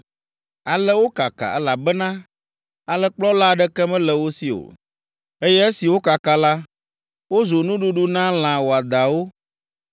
Ale wokaka, elabena alẽkplɔla aɖeke mele wo si o, eye esi wokaka la, wozu nuɖuɖu na lã wɔadãwo.